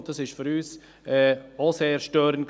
Für uns war dies auch sehr störend.